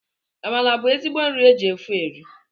Amala bụ ezigbo nri e ji ofe eri